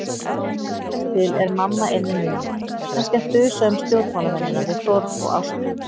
Líkast til er mamma inni núna, kannski að þusa um stjórnmálamennina við Þórð og Ástu.